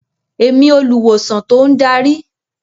Èmi olùwòsàn tó ń darí.